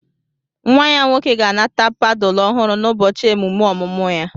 Nwa ya nwoke ga-anata padulu ọhụrụ n'ụbọchị emume ọmụmụ ya